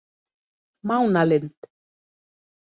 Mánalind